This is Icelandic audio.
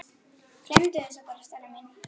Gleymdu þessu bara, Stella mín.